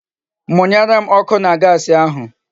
Munyere m oku na Gasi ahu